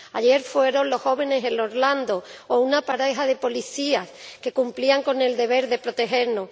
Ayer fueron los jóvenes en Orlando o una pareja de policías que cumplían con el deber de protegernos.